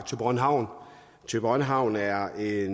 thyborøn havn thyborøn havn er i